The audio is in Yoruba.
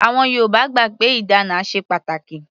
Àwọn Yorùbá gbà pé ìdána ṣe pàtàkì.